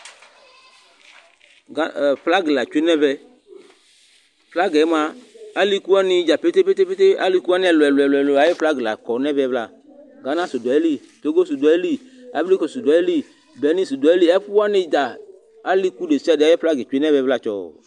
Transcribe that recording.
Flag la tsue nʋ ɛvɛ Flag mʋa aliku wani dza pete pete, aliku wani ɛlu ɛlu la kɔ nʋ ɛvɛ vla Ghana su du, Togo su du ayìlí, Ivory Cost su du ayìlí, Benin su du ayìlí, ɛku wani dza, aliku desiade ayʋ flag tsue nʋ ɛvɛ vla tsɔɔ